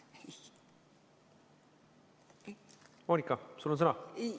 Moonika, sul on sõna!